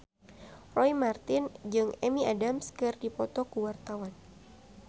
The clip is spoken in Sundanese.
Roy Marten jeung Amy Adams keur dipoto ku wartawan